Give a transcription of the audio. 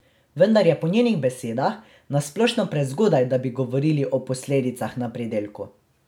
Vendar je po njenih besedah na splošno prezgodaj, da bi govorili o posledicah na pridelku.